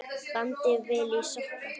Bandið vel í sokka.